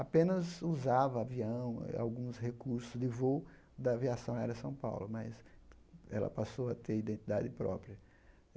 Apenas usava avião e alguns recursos de voo da Aviação Aérea São Paulo, mas ela passou a ter identidade própria.